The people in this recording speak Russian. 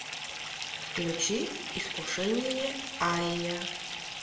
включи искушение ария